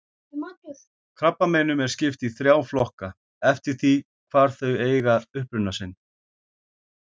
Krabbameinum er skipt í þrjá flokka eftir því hvar þau eiga uppruna sinn.